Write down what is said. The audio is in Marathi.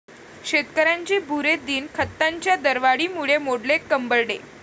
शेतकऱ्यांचे 'बुरे दिन'! खतांच्या दरवाढीमुळे मोडले कंबरडे